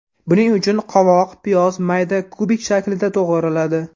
Buning uchun qovoq, piyoz mayda kubik shaklida to‘g‘raladi.